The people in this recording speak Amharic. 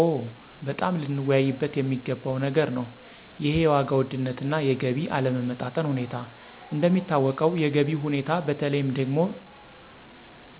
ኦ! በጣም ልንወያይበት የሚገባው ነገር ነው ይሄ የዋጋ ውድነትና የገቢ አለመጣጣም ሁኔታ። እንደሚታወቀው የገቢው ሁኔታ በተለይም ደግሞ